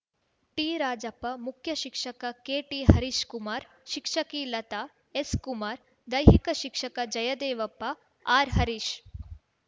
ಟಿರಾಜಪ್ಪ ಮುಖ್ಯಶಿಕ್ಷಕ ಕೆಟಿಹರೀಶ್‌ ಕುಮಾರ್‌ ಶಿಕ್ಷಕಿ ಲತಾ ಎಸ್‌ಕುಮಾರ್‌ ದೈಹಿಕ ಶಿಕ್ಷಕ ಜಯದೇವಪ್ಪ ಆರ್‌ಹರೀಶ್‌